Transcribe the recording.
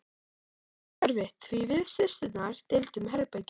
Það var hræðilega erfitt því við systurnar deildum herbergi.